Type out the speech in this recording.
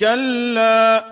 كَلَّا ۖ